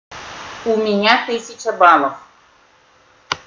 у меня тысяча баллов